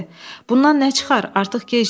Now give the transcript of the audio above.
Bundan nə çıxar, artıq gecdir.